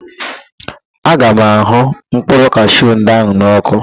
Aga m ahụ mkpụrụ kashiu ndị ahụ n ọ́kụ́.